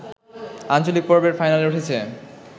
আঞ্চলিক পর্বের ফাইনালে উঠেছে